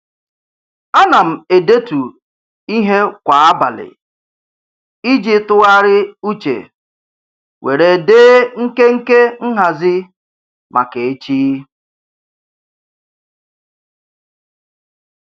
A na m edetu ihe kwa abalị iji tụgharị uche were dee nkenke nhazị maka echi.